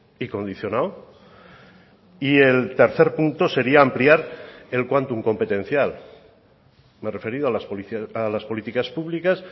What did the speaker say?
y condicionado y el tercer punto sería ampliar el quantum competencial me he referido a las políticas públicas